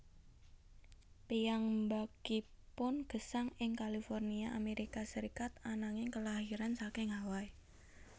Piyambakipun gesang ing California Amerika Serikat ananging kelairan saking Hawai